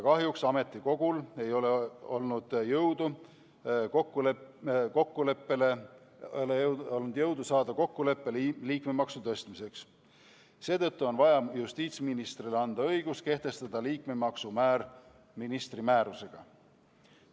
Kahjuks ei ole ametikogul olnud jõudu saada kokkuleppele liikmemaksu tõstmiseks, seetõttu on vaja justiitsministrile anda õigus kehtestada liikmemaksu määr ministri määrusega.